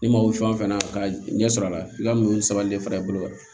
Ni ma wuli fɛn fɛn na ka ɲɛsɔrɔ a la i ka mun ni sabali de fara i bolo wa